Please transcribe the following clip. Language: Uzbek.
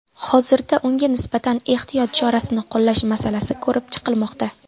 Hozirda unga nisbatan ehtiyot chorasini qo‘llash masalasi ko‘rib chiqilmoqda.